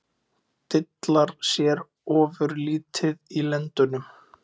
Dillar sér ofurlítið í lendunum.